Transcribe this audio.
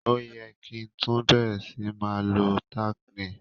O ye ki tun bẹ̀rẹ̀ si ma lo tack nail